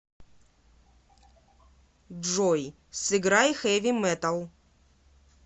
джой сыграй хэви металл